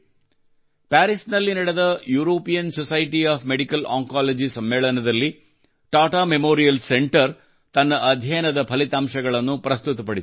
ಪ್ಯಾರಿಸ್ನಲ್ಲಿ ನಡೆದ European society of medical oncology ಸಮ್ಮೇಳನದಲ್ಲಿ Tata memorial centre ತನ್ನ ಅಧ್ಯಯನದ ಫಲಿತಾಂಶಗಳನ್ನು ಪ್ರಸ್ತುತಪಡಿಸಿದೆ